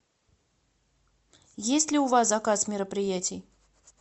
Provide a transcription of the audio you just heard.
есть ли у вас заказ мероприятий